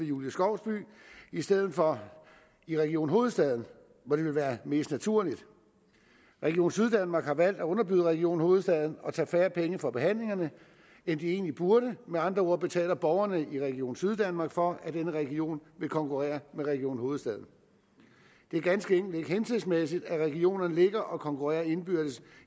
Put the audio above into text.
julie skovsby i stedet for i region hovedstaden hvor det ville være mest naturligt region syddanmark har valgt at underbyde region hovedstaden og tage færre penge for behandlingerne end de egentlig burde med andre ord betaler borgerne i region syddanmark for at denne region vil konkurrere med region hovedstaden det er ganske enkelt ikke hensigtsmæssigt at regionerne ligger og konkurrerer indbyrdes